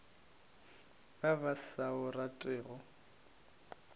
ba ba sa o ratego